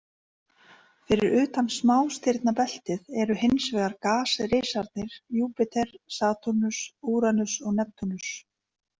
Fyrir utan smástirnabeltið eru hins vegar gasrisarnir Júpíter, Satúrnus, Úranus og Neptúnus.